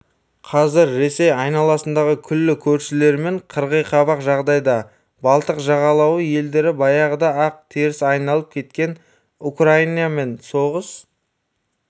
қазір ресей айналасындағы күллі көршілерімен қырғиқабақ жағдайда балтық жағалауы елдері баяғыда-ақ теріс айналып кеткен украинамен соғыс